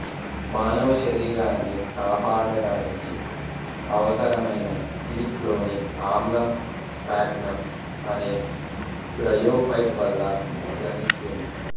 మానవ శరీరాన్ని కాపాడటానికి అవసరమైన పీట్ లోని ఆమ్లం స్పాగ్నమ్ అనే బ్రయోఫైట్ వల్ల జనిస్తుంది